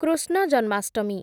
Krishna Janmashtami